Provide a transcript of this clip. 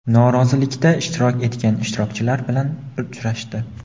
norozilikda ishtirok etgan ishchilar bilan uchrashdi.